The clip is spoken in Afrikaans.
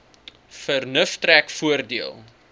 vernuf trek voordeel